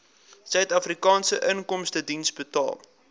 suidafrikaanse inkomstediens betaal